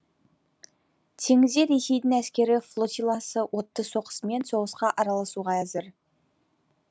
теңізде ресейдің әскери флотиласы отты соққысымен соғысқа араласуға әзір